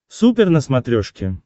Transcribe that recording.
супер на смотрешке